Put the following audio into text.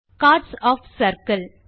Chords of circle